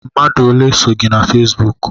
Mmadụ ole so gị na Fesbụụk?